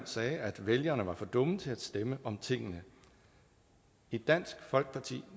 sagde at vælgerne var for dumme til at stemme om tingene i dansk folkeparti